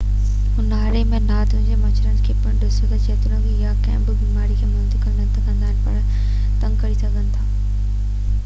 اونهاري ۾ نارڊڪ مڇرن کي پڻ ڏسو جيتوڻيڪ اهي ڪنهن به بيماري کي منتقل نه ڪندا آهن پر اهي تنگ ڪري سگهن ٿا